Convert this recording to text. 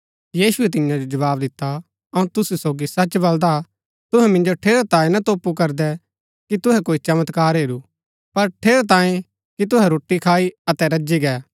यीशुऐ तियां जो जवाव दिता अऊँ तुसू सोगी सच बलदा तुहै मिन्जो ठेरैतांये ना तोपु करदै कि तुहै कोई चमत्कार हेरू पर ठेरैतांये कि तुहै रोटी खाई अतै रजी गै